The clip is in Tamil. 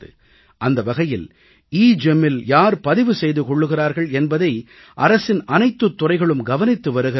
அந்த வகையில் EGEMஇல் யார் பதிவு செய்து கொள்கிறார்கள் என்பதை அரசின் அனைத்துத் துறைகளும் கவனித்து வருகிறார்கள்